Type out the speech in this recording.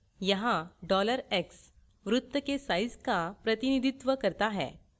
यहाँ $x वृत्त के size का प्रतिनिधित्व करता है